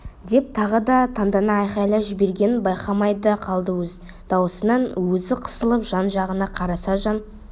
деп тағы да тандана айқайлап жібергенін байқамай да қалды өз дауысынан өзі қысылып жан-жағына қараса жан